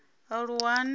aluwani